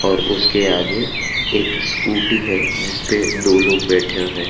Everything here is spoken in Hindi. और उसके आगे एक स्कूटी है जिस पे दो लोग बैठें है।